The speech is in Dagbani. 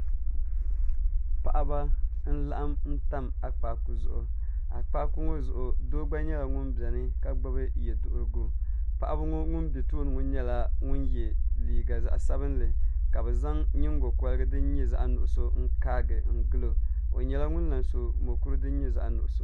Paɣaba n laɣam tam akpaaku zuɣu akpaaku ŋo zuɣu doo gba nyɛla ŋun biɛni ka gbubi yɛduɣurigu paɣaba ŋo ŋun bɛ tooni ŋo nyɛla ŋun yɛ liiga zaɣ sabinli ka bi zaŋ nyingokorigi din nyɛ zaɣ nuɣso n kaagi n gilo o nyɛla ŋun lahi so mokuru din nyɛ zaɣ nuɣso